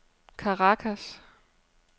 Caracas